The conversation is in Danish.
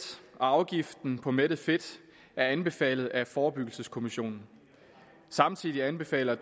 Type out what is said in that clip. og afgiften på mættet fedt er anbefalet af forebyggelseskommissionen samtidig anbefaler